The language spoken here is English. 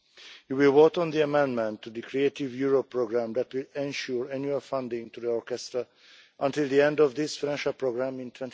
You will vote on the amendment to the creative Europe programme that will ensure annual funding to the orchestra until the end of this financial programme in